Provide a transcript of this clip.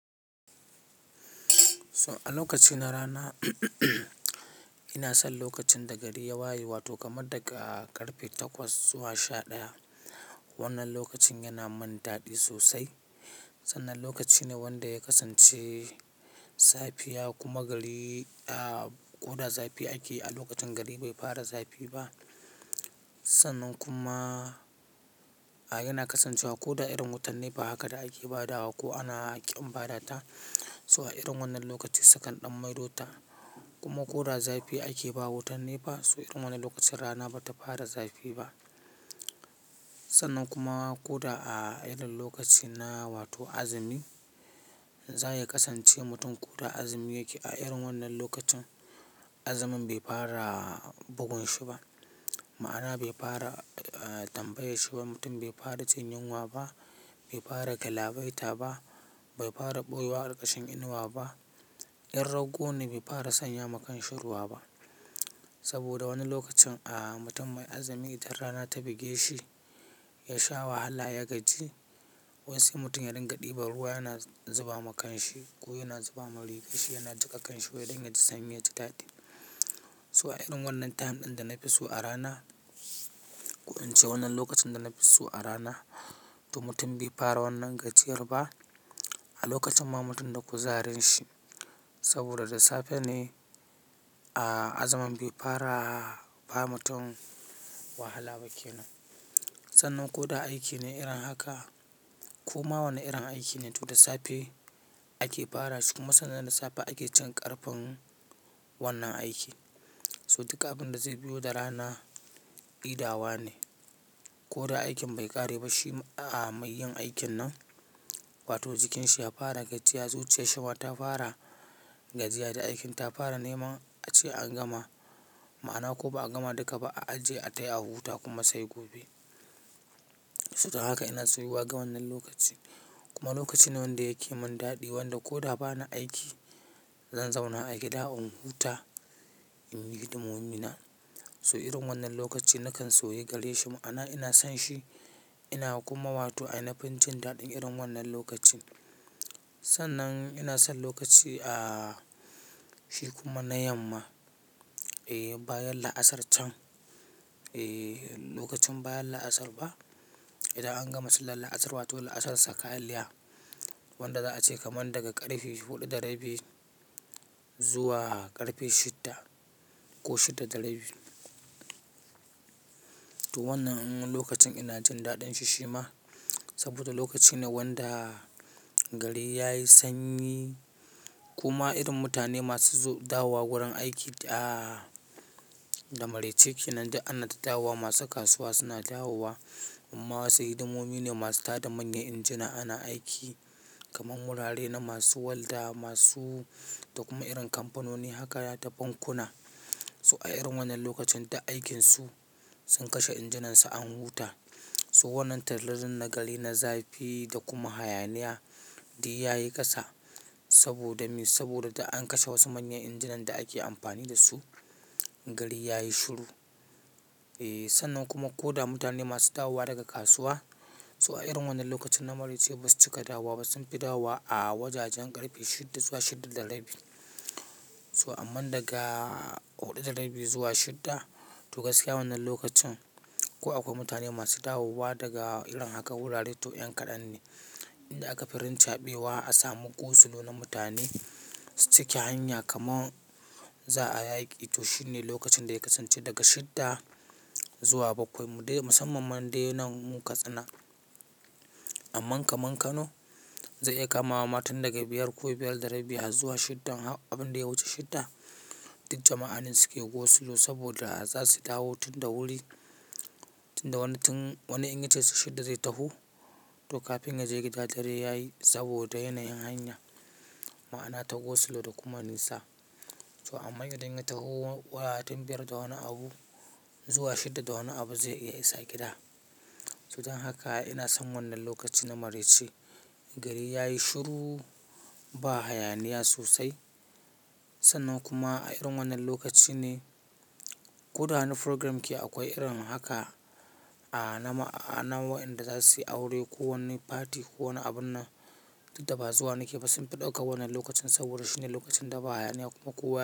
So a lokaci na rana, ina son lokacin da gari ya waye wato kamar daga ƙarfe takwas zuwa sha ɗaya. Wannan lokacin yana mun daɗi sosai. Sannan lokaci ne wanda ya kasance safiya kuma gari, aa, ko da zafi ake a lokacin gari bai fara zafi ba. Sannan kuma, aa, yana kasancewa ko da irin wutan nefa haka da ake ba da wa ko ana ƙin ba da ta. So a irin wannan lokaci salukan ɗan maido ta kuma ko da zafi ake ba wutan nefa. So irin wannan lokacin rana bata fara zafi ba. Sannan kuma ko da a irin lokaci na wato azumi, zai kasance mutum ko da azumi yake a irin wannan lokacin, azumin bai fara bugun shi ba. Ma'ana bai fara, aa, tambaye shi ba. Mutum bai fara cin yinwa ba, bai fara kalawaita ba, bai fara ɓoye wa ƙarƙashin inuwa ba. In rago ne bai fara sanya makanshiruwa ba. Saboda wani lokacin, aa, mutum mai azumi idan rana ta buge shi, ya sha wahala ya gaji. Wai sanli mutum ya dinga ɗiba ruwa yana zuba makanshi ko yana zuba ma rufe shi yana jiƙa kanshi wai dangya ji sanyi ya ji daɗi. So a irin wannan time ɗin da na fi so a rana, ko in ce wannan lokacin da na fi so a rana to mutum bai fara wannan gajiyar ba. A lokacin ma mutum da ku zarin shi saboda da safe ne, aa, azumin bai fara ba mutum wahala bakeno. Sannan ko da aiki ne irin haka ko ma wannan irin aiki ne to da safe ake fara shi kuma sannan da safe ake cin ƙarfin wannan aiki. So duka abin da zai biyo da rana idawa ne. Ko da aikin bai ƙare ba shi, aa, mai yin aikin nan wato jikinsa ya fara gajiya zuciyar shi ma ta fara gajiya da aikin ta fara nema a ce an gama. Ma'ana ko ba a gama duka ba a aje a taya a huta kuma sai gobe. So don haka ina soyi wa ga wannan lokaci kuma lokaci ne wanda yake mun daɗi wanda ko da ba na aiki, zan zauna a gida in huta, in yi hidimomi na. So irin wannan lokaci nakan soyi gare shi ma'ana ina son shi. Ina kuma wato aini fin cin daɗin irin wannan lokacin. Sannan ina son lokaci, aa, shi kuma na yamma. E, bayan la'asar can, e, lokacin bayan la'asar ba. Idan an gama sillar la'asar wato la'asar saka alliha wanda za a ce kamar daga ƙarfe huɗu da rabi zuwa ƙarfe shidda ko shidda da rabi. To wannan lokacin ina cin daɗin shi shi ma saboda lokaci ne wanda gari yayi sanyi kuma irin mutane masu zo, dawowa wurin aiki, aa, da maraice ke nan duk ana ta dawowa. Masu kasuwa suna dawowa amma wasu hidimomi ne masu tada manyan injina ana aiki kamar wurare na masu walda masu da kuma irin kampanoni haka da bankuna. So a irin wannan lokacin dai aikinsu sun kashe injinansu an huta. Toh wannan tallelin na gari, na zafi da kuma hayaniya dai yayi ƙasa saboda me, saboda da an kashe wasu manyan injinan da ake amfani da su, gari yayi shiru. E, sannan kuma ko da mutane masu dawowa daga kasuwa, so a irin wannan lokacin na maraice basu cika dawowa ba. Sunfi dawowa a wajajen ƙarfe shidda zuwa shidda da rabi. So amman daga huɗu da rabi zuwa shidda to gaskiya wannan lokacin kuwa akwai mutane masu dawowa daga irin haka wurare to yan kaɗan ne. Inda aka firinta ɓewa a samu go slow na mutane cike hanya kamar za a yaki. Toh ne lokacin da ya kasance daga shidda zuwa bakwai mu dai, musamman man dai nan mu Katsina. Aman kaman Kano zai iya kamawa ma tun daga biyar ko biyar da rabi har zuwa shidda. Abin da ya wuce shidda duk jama'a ne suke go slow saboda za su dawo tun da wuri, tun da wani tin, wani inyace shidda zai taho. To kafin ya je gida dare yayi saboda yanayin hanya. Ma'ana ta go slow da kuma nisa. So amma idan ya taho tlwa tun biyar da wani abu zuwa shidda da wani abu zai iya isa gida. So don haka ina son wannan lokaci na maraice. Gari yayi shiru ba hayaniya sosai. Sannan kuma a irin wannan lokaci ne ko da wani programme ke akwai irin haka, aa, na ma, aa, na wa'yanda za su yi aure ko wani party ko wani abun na duk da bazuwa nake ba sunfi ɗaukan wannan lokacin saboda shi ne lokacin da ba hayaniya kuma kuwaye.